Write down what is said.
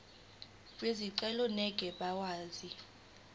bezicelo ngeke bakwazi